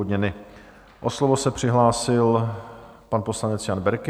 O slovo se přihlásil pan poslanec Jan Berki.